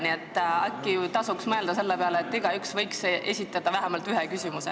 Nii et äkki tasuks mõelda selle peale, et igaüks võiks esitada vähemalt ühe küsimuse.